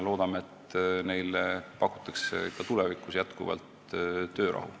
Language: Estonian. Loodame, et ka tulevikus pakutakse teatritele jätkuvalt töörahu.